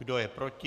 Kdo je proti?